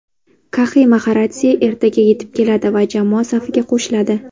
Kaxi Maxaradze ertaga yetib keladi va jamoa safiga qo‘shiladi.